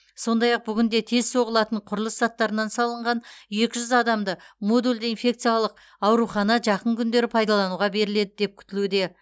сондай ақ бүгінде тез соғылатын құрылыс заттарынан салынған екі жүз адамды модульді инфекциялық аурухана жақын күндері пайдалануға беріледі деп күтілуде